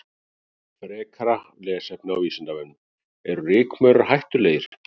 Frekara lesefni á Vísindavefnum: Eru rykmaurar hættulegir?